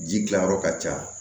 Ji dilan yɔrɔ ka ca